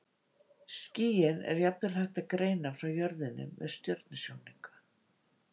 Skýin er jafnvel hægt að greina frá jörðinni með stjörnusjónauka.